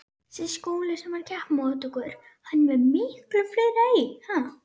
Ekki veit ég það.